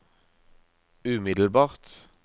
umiddelbart